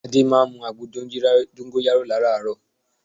Adé máa ń mu àgbo dóngóyárò láràárò